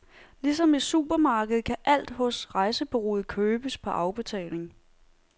Ligesom i supermarkedet, kan alt hos rejsebureauet købes på afbetaling.